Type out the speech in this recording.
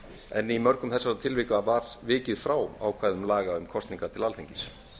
en í mörgum þessara tilvika var vikið frá ákvæðum laga um kosningar til alþingis